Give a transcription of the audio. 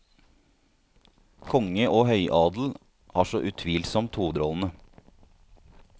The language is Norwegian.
Konge og høyadel har så utvilsomt hovedrollene.